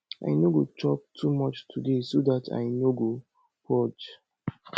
i no go chop too much today so dat i no go purge